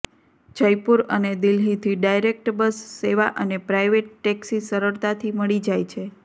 જયપુર અને દિલ્લીથી direct bus સેવા અને પ્રાઇવેટ ટેક્સી સરળતાથી મળી જાય છે